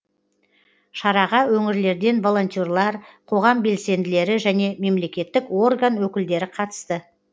шараға өңірлерден волонтерлар қоғам белсенділері және мемлекеттік орган өкілдері қатысты